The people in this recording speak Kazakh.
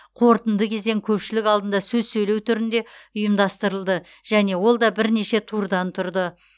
қорытынды кезең көпшілік алдында сөз сөйлеу түрінде ұйымдастырылды және ол да бірнеше турдан тұрды